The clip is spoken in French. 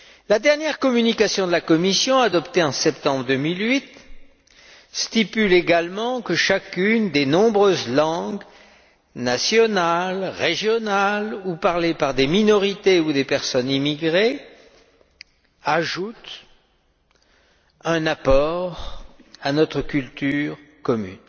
La dernière communication de la Commission, adoptée en septembre 2008, indique également que chacune des nombreuses langues, nationales, régionales ou parlées par des minorités ou des personnes immigrées, ajoute un apport à notre culture commune.